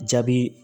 Jaabi